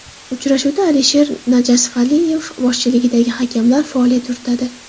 Uchrashuvda Asker Najafaliyev boshchiligidagi hakamlar faoliyat yuritadi.